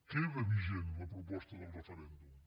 queda vigent la proposta del referèndum